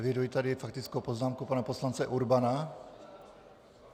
Eviduji tady faktickou poznámku pana poslance Urbana.